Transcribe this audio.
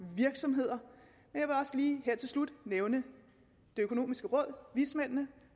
virksomheder nævne det økonomiske råd vismændene